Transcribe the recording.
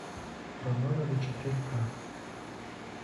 романовы четыре ка